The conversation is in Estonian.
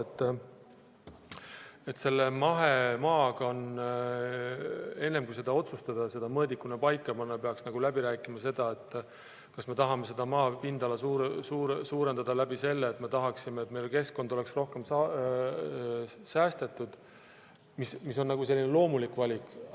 Enne kui selle mahemaaga otsustada, see mõõdikuna paika panna, peaks läbi rääkima, kas me tahame maa pindala suurendada nii, et keskkond oleks rohkem säästetud – mis on selline loomulik valik.